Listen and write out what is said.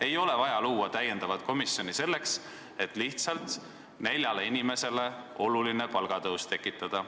Ei ole vaja luua uut komisjoni lihtsalt selleks, et neljale inimesele märgatav palgatõus tekitada.